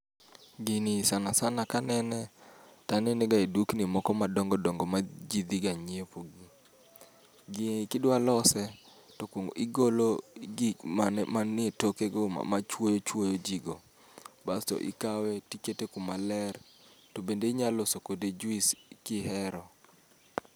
Gini sana sana kanene, to anene ga edukni moko madongo dongo maji dhiga nyiepe. Gini kidwa lose to igolo gik man etoke go machuoyo chuoyo ji go. Bas to ikawe to ikete kuma ler, to be inyalo loso kode juice ka ihero